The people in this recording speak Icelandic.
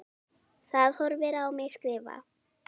Það horfir á mig skrifa.